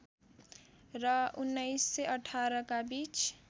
र १९१८ का बीच